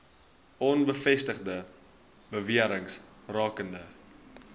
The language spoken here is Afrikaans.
onbevestigde bewerings rakende